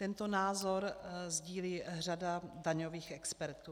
Tento názoru sdílí řada daňových expertů.